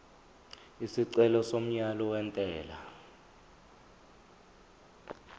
isicelo somyalo wentela